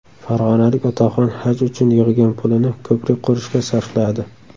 Farg‘onalik otaxon haj uchun yig‘gan pulini ko‘prik qurishga sarfladi.